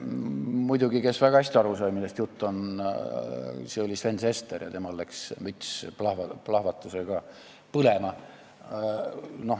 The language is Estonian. Muidugi, kes väga hästi aru sai, millest jutt on, oli Sven Sester, ja temal läks müts plahvatusega põlema.